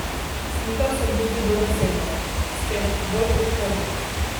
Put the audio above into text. Slikal sem tudi dobesedno, spet, bolj kot hobi.